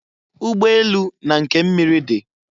Ụgbọ elu na nke miri di.